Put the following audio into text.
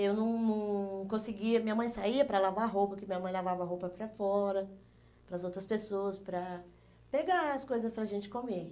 Eu não não conseguia... Minha mãe saía para lavar roupa, porque minha mãe lavava roupa para fora, para as outras pessoas, para pegar as coisas para a gente comer.